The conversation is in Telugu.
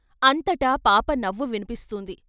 అంతటా పాప నవ్వు విన్పి స్తుంది.